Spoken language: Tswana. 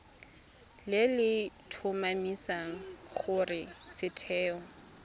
le le tlhomamisang gore setheo